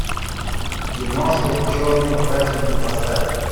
киношка черные праздники поставь